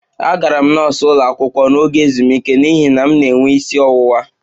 Agara m nọọsụ ụlọ akwụkwọ n'oge ezumike n'ihi na m na-enwe isi ọwụwa